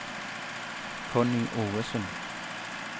Connie Ovesen